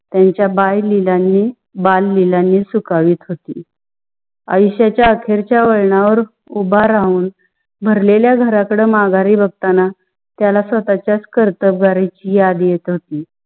त्यांच्या बाळ लीलांनी त्यांच्या बाळ लीलांनी सुखवीत होती. असती आयुष्याच्या वळणावर उभा राहून भरलेला घराकडं माघारी बघताना त्याला स्वतःच्याच कर्तव्याची याद होती.